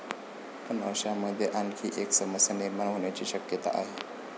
पण अशामध्ये आणखी एक समस्या निर्माण होण्याची शक्यता आहे.